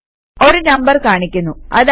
ഒരു നമ്പർ കാണിക്കുന്നു